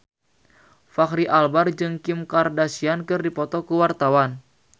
Fachri Albar jeung Kim Kardashian keur dipoto ku wartawan